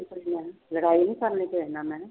ਲੜਾਈ ਨੀ ਕਰਨੀ ਕਿਸੇ ਨਾਲ ਮੈਂ ਕਿਹਾ।